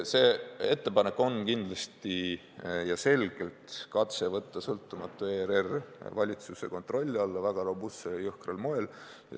See ettepanek on kindlasti selge katse võtta sõltumatu ERR väga robustsel ja jõhkral moel valitsuse kontrolli alla.